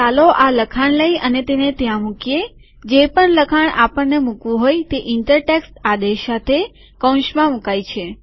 તો ચાલો આ લખાણ લઇ અને તેને ત્યાં મુકીએજે પણ લખાણ આપણને મુકવું હોય તે ઇન્ટર ટેક્સ્ટ આદેશ સાથે કૌંસમાં મુકાય છે